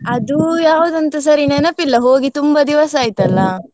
ಅದು ಯಾವುದಂತ ಸರಿ ನೆನಪಿಲ್ಲ, ಹೋಗಿ ತುಂಬಾ ದಿವಸ ಆಯ್ತಲ್ಲ.